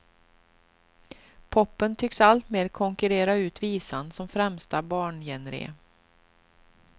Popen tycks alltmer konkurrera ut visan som främsta barngenre.